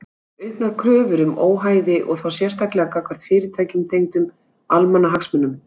Auknar kröfur um óhæði og þá sérstaklega gagnvart fyrirtækjum tengdum almannahagsmunum.